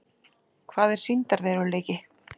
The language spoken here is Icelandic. Hvað er sýndarveruleiki?